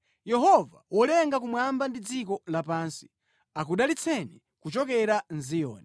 Yehova wolenga kumwamba ndi dziko lapansi, akudalitseni kuchokera mʼZiyoni.